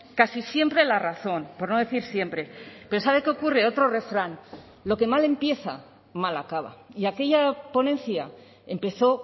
casi siempre la razón por no decir siempre pero sabe qué ocurre otro refrán lo que mal empieza mal acaba y aquella ponencia empezó